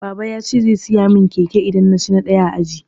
Baba ya ce zai siya mun keke in na ci ɗaya a aji